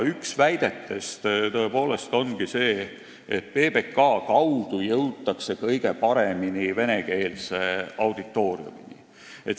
Üks väidetest ongi see, et PBK kaudu jõutakse kõige paremini venekeelse auditooriumini.